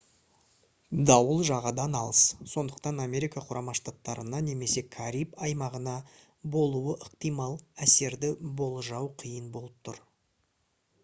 дауыл жағадан алыс сондықтан америка құрама штаттарына немесе кариб аймағына болуы ықтимал әсерді болжау қиын болып тұр